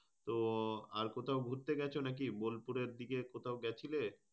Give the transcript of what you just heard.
তো আর কোথাও ঘুরতে গেছো নাকি বোলপুরের দিকে কোথাও গেছিলে?